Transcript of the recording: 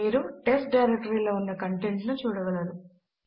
మీరు టెస్ట్ డైరెక్టరీలో ఉన్న కంటెంట్ ను చూడగలరు